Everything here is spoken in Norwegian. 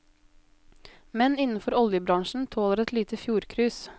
Menn innenfor oljebransjen tåler et lite fjordcruise.